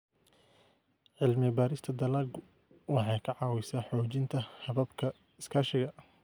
Cilmi-baarista dalaggu waxay ka caawisaa xoojinta hababka iskaashiga.